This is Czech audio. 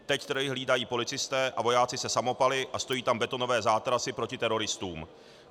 Teď trhy hlídají policisté a vojáci se samopaly a stojí tam betonové zátarasy proti teroristům.